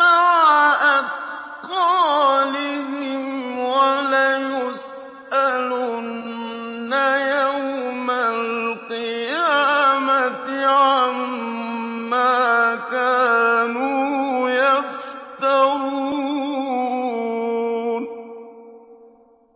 مَّعَ أَثْقَالِهِمْ ۖ وَلَيُسْأَلُنَّ يَوْمَ الْقِيَامَةِ عَمَّا كَانُوا يَفْتَرُونَ